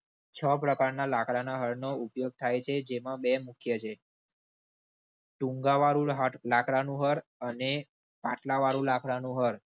છ પ્રકારના લાકડાના હળનો ઉપયોગ થાય છે. જેમાં બે મૂખ્ય છે. ટૂંગા વાળું લકડા નું હળ અને પાટલા વાળું લાકડા નું હળ